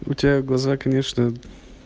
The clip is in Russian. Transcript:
у тебя глаза конечно